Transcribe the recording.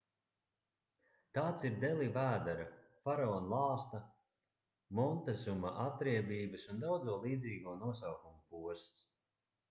tāds ir deli vēdera faraona lāsta montezuma atriebības un daudzo līdzīgo nosaukumu posts